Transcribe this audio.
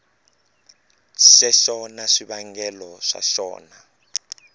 xexo na swivangelo swa xona